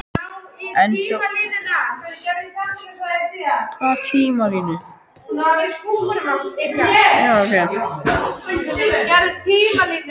En hjálenda hvaða ríkis í útlöndum hefðum við þá orðið?!